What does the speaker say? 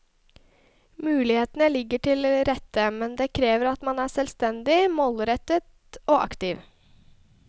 Mulighetene ligger til rette, men det krever at man er selvstendig, målrettet og aktiv.